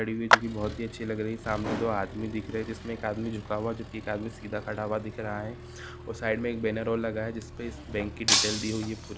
हुई है जी कि बहुत अच्छी लग रही सामने दो आदमी देख रहे है जिसमें एक आदमी झुका हुआ जो कि सामने खड़ा हुआ दिख रहा है और साइड में एक बैनर और लगा है जिस पे इस बैंक डिटेल दी हुई है पूरी।